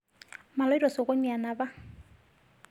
Maloito sokoni anapar